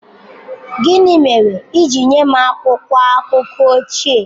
Gịnị mere i ji nye m akwụkwọ akụkọ ochie?